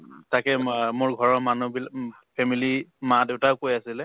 তাকে উম অ মোৰ ঘৰৰ মানুহবিলা family মা-দেউতায়ো কৈ আছিলে